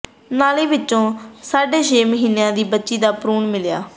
ਨਾਲੀ ਵਿੱਚੋਂ ਸਾਢੇ ਛੇ ਮਹੀਨਿਆਂ ਦੀ ਬੱਚੀ ਦਾ ਭਰੂਣ ਮਿਲਿਆ